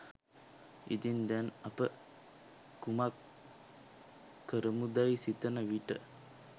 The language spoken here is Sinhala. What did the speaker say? ඉතින් දැන් අප කුමක් කරමුදැයි සිතන විට